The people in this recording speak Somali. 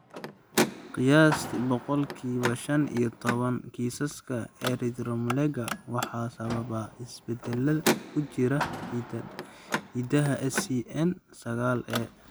Qiyaastii boqolkiba shan iyo toban kiisaska erythromelalgia waxaa sababa isbeddellada ku jira hiddaha SCN sagaal A.